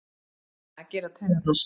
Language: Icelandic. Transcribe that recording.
Það gera taugarnar.